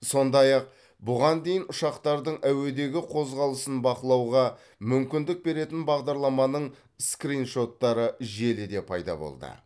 сондай ақ бұған дейін ұшақтардың әуедегі қозғалысын бақылауға мүмкіндік беретін бағдарламаның скриншоттары желіде пайда болды